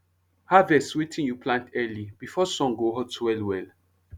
harvest wetin you plant early before sun go hot well well